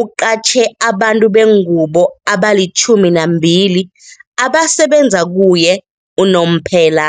uqatjhe abantu bengubo abali-12 abasebenza kuye unomphela.